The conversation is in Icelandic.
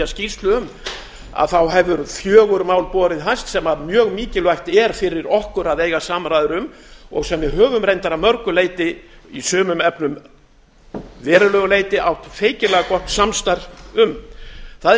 skýrslu um hefur fjögur mál borið hæst sem mjög mikilvægt er fyrir okkur að eiga samræður um og sem við höfum reyndar að mörgu leyti í sumum efnum að verulegu leyti átt feikilega gott samstarf um það er í